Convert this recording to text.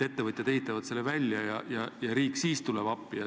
Ettevõtjad ehitaksid selle valmis ja riik tuleb appi.